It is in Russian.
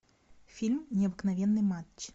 фильм необыкновенный матч